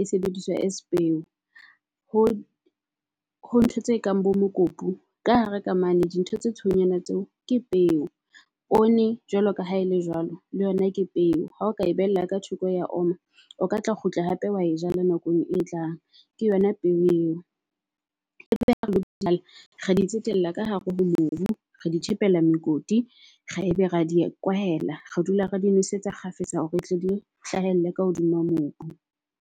e sebediswa as peo, ho ho ntho tse kang bo mokopu. Ka hare ka mane di ntho tse tshweunyana tseo ke peo. Poone jwalo ka ha e le jwalo, le yona ke peo. Ha o ka e behella ka thoko ya oma, o ka tla kgutla hape wa e jala nakong e tlang. Ke yona ng peo. E be ha re lo jala re di tsetela ka hare ho mobu, re di tjhekela mekoti, ra ebe ra di kwahela. Re dula re di nosetsa kgafetsa hore tle di hlahelle ka hodima mobu.